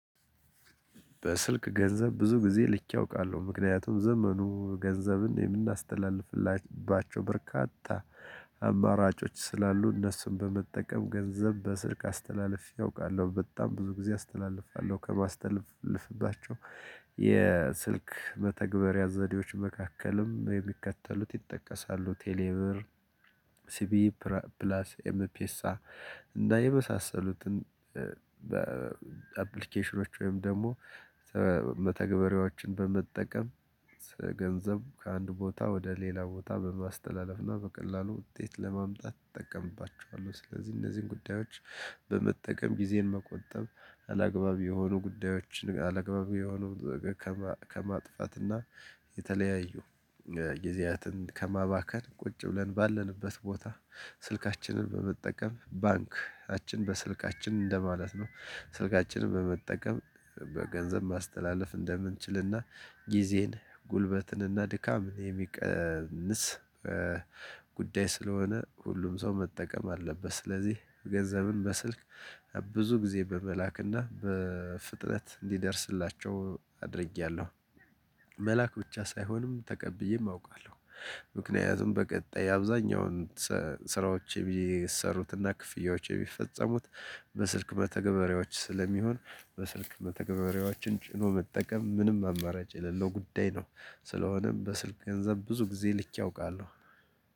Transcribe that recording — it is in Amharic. በስልክ ገንዘብ ብዙ ጊዜ ልኬ አውቃለሁ ምክንያቱም ዘመኑ ገንዘብን የምናስተላልፍላባቸው በርካታ አማራጮች ስላሉ እነሱን በመጠቀም ገንዘብ በስልክ አስተላልፌ አውቃለሁ በጣም ብዙ ጊዜ አስተላልፋለሁ ከማስተላልፍባቸው የስልክ መተግበሪያ ዘዴዎች መካከልም የሚከተሉት ይጠቀሳሉ ቴሌብር ሲቢ ፕራፕላስ ኤምፒኤሳ እና የመሳሰሉትን በአፕሊኬሽኖች ወይም ደግሞ መተግበሪያዎችን በመጠቀም ስለገንዘብ ከአንድ ቦታ ወደ ሌላ ቦታ በማስተላለፍና በቀላሉ ውጤት ለማምጣት እጠቀምባቸዋለሁ። ስለዚህ እነዚህን ጉዳዮች በመጠቀም ጊዜን መቆጠብ አላግባብ የሆኑ ጉዳዮችን አላግባብ የሆኑ ከማከማጥፋትና የተለያዩ ጊዜያትን ከማባከን ቁጭ ብለን ባለንበት ቦታ ስልካችንን በመጠቀም ባንክችን በስልካችን እንደማለት ነው ስልካችንን በመጠቀም በገንዘብ ማስተላለፍ እንደምንችልና ጊዜን ጉልበትንና ድካምን የሚቀንስ ጉዳይ ስለሆነ ሁሉም ሰው መጠቀም አለበት። ስለዚህ ገንዘብን በስልክ ብዙ ጊዜ በመላክና በፍጥነት እንዲደርስላቸው አድርጌያለሁ። መላክ ብቻ ሳይሆንም ተቀብዬም አውቃለሁ። ምክንያቱም በቀጣይ አብዛኛውን ሠሥራዎቼ ብየ የሚሠሩትና ክፍያዎች የሚፈጸሙት በስልክ መተግበሪያዎች ስለሚሆን በስልክ መተግበሪያዎችን ጭኖ መጠቀም ምንም አማራጭ የሌለው ጉዳይ ነው። ስለሆነም በስልክ ገንዘብ ብዙ ጊዜ ልኬ አውቃለሁ።